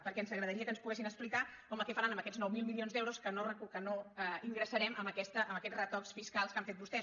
perquè ens agradaria que ens poguessin explicar home què faran amb aquests nou mil milions d’euros que no ingressarem amb aquests retocs fiscals que han fet vostès